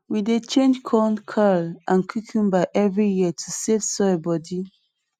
we dey change corn kale and cocumber every year to save soil body